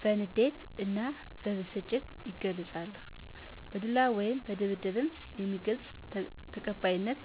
በንዴት እና በብስጭት ይገልፃሉ በዱላ ወይም ድብድብም የሚገልፅ ተቀባይነት